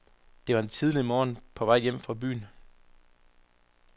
Det var en tidlig morgen på vej hjem fra byen.